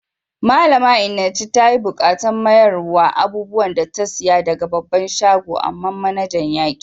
Malami Enenche ta yi bukatan mayarswan abubuwan da ta siya daga babban shagon, amma manajan ya ki.